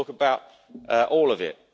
Let's talk about all of